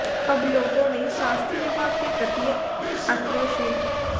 अब लोगों में स्वास्थ्य विभाग के प्रति आक्रोश है